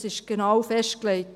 Es ist genau festgelegt.